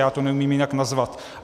Já to neumím jinak nazvat.